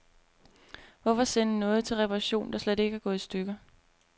Hvorfor sende noget til reparation, der slet ikke er gået i stykker.